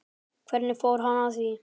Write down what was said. Hvernig fór hann að því?